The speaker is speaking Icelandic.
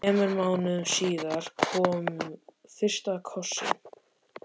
Þremur mánuðum síðar kom fyrsti kossinn.